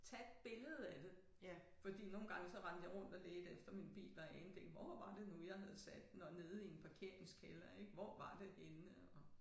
Tag et billede af det fordi nogle gange så rendte jeg rundt og ledte efter min bil og anede ikke hvor var det nu jeg havde sat den og nede i en parkeringskælder ik hvor var det henne og